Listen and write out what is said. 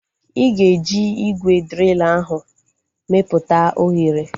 Ịga eji ígwè driil ahu meputa oghere